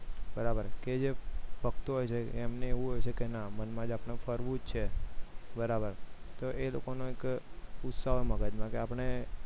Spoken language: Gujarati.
બરાબર કે જે ભક્તો હોય છે એમને મનમાં એવું હોય છે કે ફરવું જ છે બરાબર એ લોકોને એક ઉત્સાહક મગજમાં કે આપણે